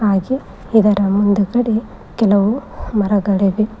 ಹಾಗೆ ಇದರ ಮುಂದುಗಡೆ ಕೆಲವು ಮರಗಳಿವೆ.